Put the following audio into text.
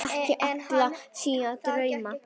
Eiga ekki allir sína drauma?